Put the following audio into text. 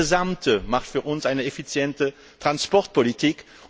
Das Gesamte macht für uns eine effiziente Verkehrspolitik.